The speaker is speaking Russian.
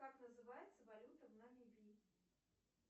как называется валюта в намибии